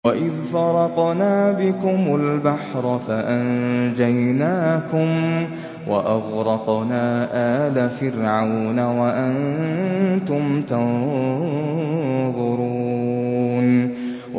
وَإِذْ فَرَقْنَا بِكُمُ الْبَحْرَ فَأَنجَيْنَاكُمْ وَأَغْرَقْنَا آلَ فِرْعَوْنَ وَأَنتُمْ تَنظُرُونَ